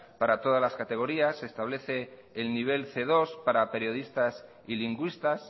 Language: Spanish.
para todas las categorías se establece el nivel ce dos para periodistas y lingüistas